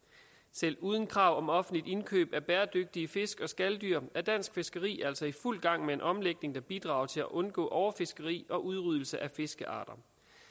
selv uden krav om offentligt indkøb af bæredygtige fisk og skaldyr er dansk fiskeri altså i fuld gang med en omlægning der bidrager til at undgå overfiskeri og udryddelse af fiskearter